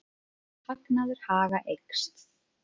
Hagnaður Haga eykst